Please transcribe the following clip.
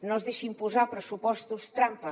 no es deixi imposar pressupostos trampa